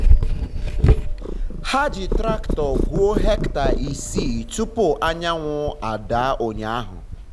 ha ji traktọ gwuo hectare isii tupu anyanwụ ada ụnyahụ.